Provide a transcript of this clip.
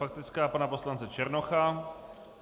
Faktická pana poslance Černocha.